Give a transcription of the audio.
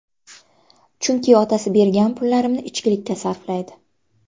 Chunki otasi bergan pullarimni ichkilikka sarflaydi.